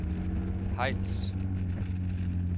Hejls